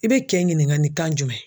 I bɛ kɛ ɲininka ni kan jumɛn ye?